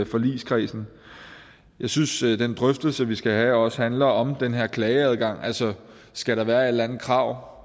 forligskredsen jeg synes at den drøftelse vi skal have også handler om den her klageadgang altså skal der være et eller andet krav